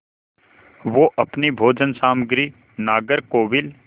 वे अपनी भोजन सामग्री नागरकोविल